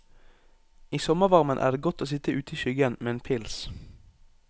I sommervarmen er det godt å sitt ute i skyggen med en pils.